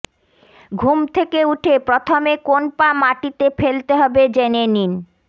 ঘুম থেকে উঠে প্রথমে কোন পা মাটিতে ফেলতে হবে জেনে নিন